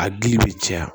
A dili bɛ caya